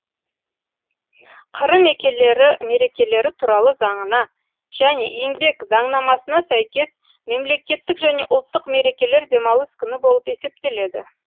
қр мерекелері туралы заңына және еңбек заңнамасына сәйкес мемлекеттік және ұлттық мерекелер демалыс күні болып есептеледі